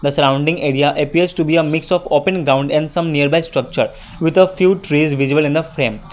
surrounding area appears to be a mix of open ground and some nearby structures with a few trees visible in the frame.